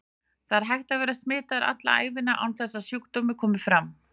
Það er hægt að vera smitaður alla ævina án þess að sjúkdómur komi fram.